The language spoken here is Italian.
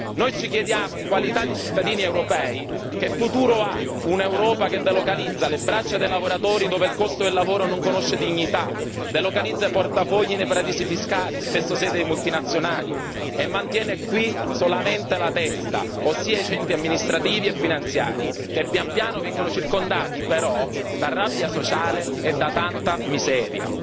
Noi ci chiediamo, in qualità di cittadini europei, che futuro ha un'Europa che delocalizza le braccia dei lavoratori dove il costo del lavoro non conosce dignità, delocalizza i portafogli nei paradisi fiscali, spesso sede di multinazionali, e mantiene qui solamente la testa, ossia i centri amministrativi e finanziari, che pian piano vengono circondati però da rabbia sociale e da tanta miseria.